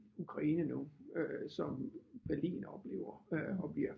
Ukraine nu øh som Berlin oplever øh og bliver